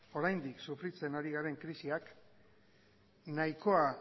oraindik sufritzen ari garena krisiak nahikoa